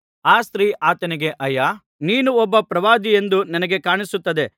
ಆ ಸ್ತ್ರೀ ಆತನಿಗೆ ಅಯ್ಯಾ ನೀನು ಒಬ್ಬ ಪ್ರವಾದಿ ಎಂದು ನನಗೆ ಕಾಣುತ್ತದೆ